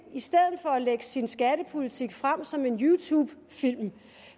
i stedet for at lægge sin skattepolitik frem som en youtubefilm